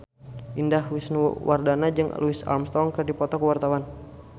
Indah Wisnuwardana jeung Louis Armstrong keur dipoto ku wartawan